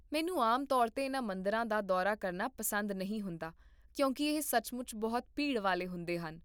ਮੈਨੂੰ ਆਮ ਤੌਰ 'ਤੇ ਇਨ੍ਹਾਂ ਮੰਦਰਾਂ ਦਾ ਦੌਰਾ ਕਰਨਾ ਪਸੰਦ ਨਹੀਂ ਹੁੰਦਾ ਕਿਉਂਕਿ ਇਹ ਸੱਚਮੁੱਚ ਬਹੁਤ ਭੀੜ ਵਾਲੇ ਹੁੰਦੇ ਹਨ